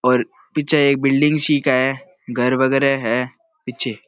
और पीछे एक बिल्डिंग सी क है घर वगैरा है पीछे।